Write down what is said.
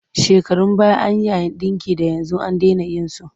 Shekarun baya an yi yayin ɗinki da yanzu an dena yin su.